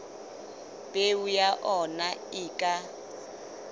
peo ya ona e ka